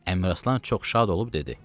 Əmiraslan çox şad olub dedi: